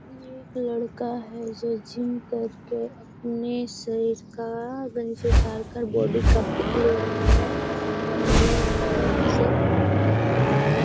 ये एक लड़का है जो जिम करके अपने सर का गंज उतारकर बॉडी का पिक ले रहा है सामने उसे और --